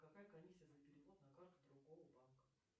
какая комиссия за перевод на карту другого банка